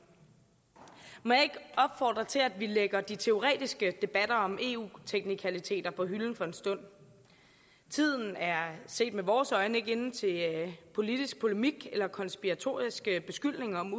må jeg opfordre til at vi lægger de teoretiske debatter om eu teknikaliteter på hylden for en stund tiden er set med vores øjne ikke inde til politisk polemik eller konspiratoriske beskyldninger om